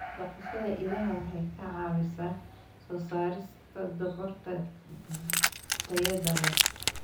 Dhaqashada idaha waxay ka caawisaa soo saarista dhogorta tayada leh.